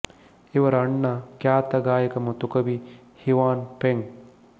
ಇವರ ಅಣ್ಣ ಖ್ಯಾತ ಗಾಯಕ ಮತ್ತು ಕವಿ ಹಿವಾನ್ ಪೇಂಗ್